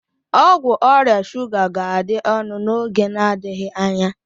Ọgwụ ọrịa shuga ga-adị ọnụ n'oge n'adịghị anya.